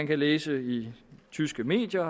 kan læse i tyske medier